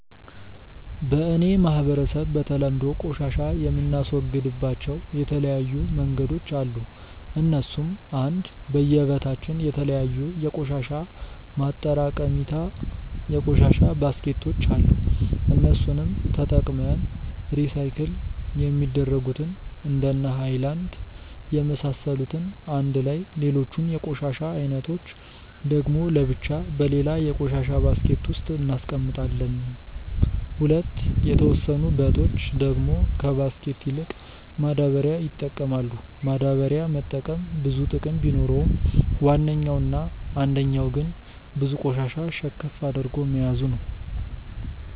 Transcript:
በ እኔ ማህበረሰብ በተለምዶ ቆሻሻ የምናስወግድባቸው የተለያዩ መንገዶች አሉ እነሱም :- 1. በየ በታችን የተለያዩ የቆሻሻ ማጠራቀሚታ የቆሻሻ ባስኬቶች አሉ እነሱንም ተጠቅመን ሪሳይክል የሚደረጉትን እንደነ ሃይላንድ የመሳሰሉትን አንድላይ ሌሎቹን የቆሻሻ አይነቶች ደግሞ ለብቻ በሌላ የቆሻሻ ባስኬት ውስጥ እናስቀምጣለም። 2. የተወሰኑ በቶች ደግሞ ከባስኬት ይልቅ ማዳበሪያ ይጠቀማሉ፤ ማዳበሪያ መጠቀም ብዙ ጥቅም ቢኖረውም ዋነኛው እና አንደኛው ግን ብዙ ቆሻሻ ሸከፍ አድርጎ መያዙ ነው።